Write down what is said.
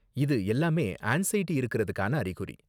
இது எல்லாமே ஆன்ஸைடி இருக்குறதுக்கான அறிகுறி.